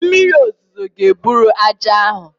Mmiri ozuzo ga-eburu ájá ahụ